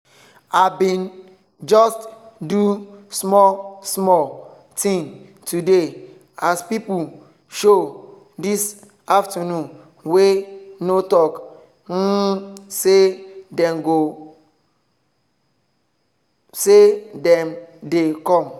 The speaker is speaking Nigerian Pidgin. i bin just do small small thing today as pipo show this afternoon wey no talk um say dem dey com.